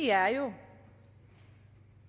er jo